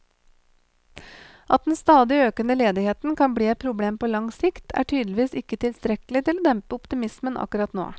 At den stadig økende ledigheten kan bli et problem på lang sikt, er tydeligvis ikke tilstrekkelig til å dempe optimismen akkurat nå.